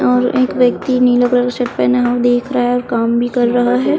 और एक व्यक्ति नीला कलर का शर्ट पहना हुआ देख रहा है और काम भी कर रहा हैं।